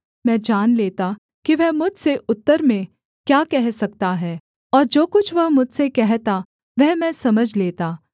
मैं जान लेता कि वह मुझसे उत्तर में क्या कह सकता है और जो कुछ वह मुझसे कहता वह मैं समझ लेता